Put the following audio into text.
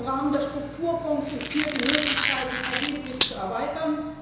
Im Rahmen der Strukturfonds sind hier die Möglichkeiten erheblich zu erweitern.